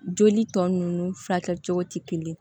Joli tɔ nunnu furakɛ cogo tɛ kelen ye